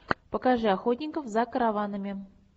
покажи охотников за караванами